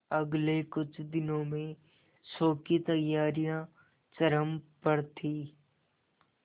अगले कुछ दिनों में शो की तैयारियां चरम पर थी